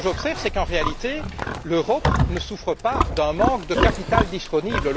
Ce que j'observe, c'est qu'en réalité, l'Europe ne souffre pas d'un manque de capital disponible.